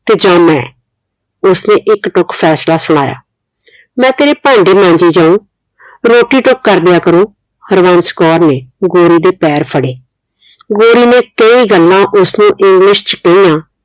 ਤੇ ਜਾ ਮੈਂ ਉਸਨੇ ਇੱਕ ਟੁੱਕ ਫੈਸਲਾ ਸੁਣਾਇਆ ਮੈਂ ਤੇਰੇ ਭਾਂਡੇ ਮਾਂਜੀ ਜਾਉ ਰੋਟੀ ਟੁੱਕ ਕਰ ਦਿਆ ਕਰੁ ਹਰਬੰਸ ਕੌਰ ਨੇ ਗੋਰੀ ਦੇ ਪੈਰ ਫੜੇ ਗੋਰੀ ਨੇ ਕਈ ਗੱਲਾਂ ਉਸ ਨੂੰ ਇੰਗਲਿਸ਼ ਚ ਕਹੀਆਂ